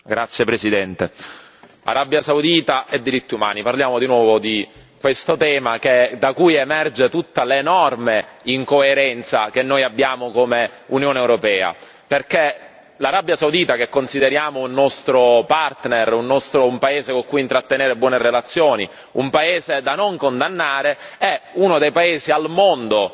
Signora Presidente, onorevoli colleghi, Arabia Saudita e diritti umani, parliamo di nuovo di questo tema da cui emerge tutta l'enorme incoerenza che noi abbiamo come Unione europea, perché l'Arabia Saudita, che consideriamo un nostro partner, un paese con cui intrattenere buone relazioni, un paese da non condannare, è uno dei paesi al mondo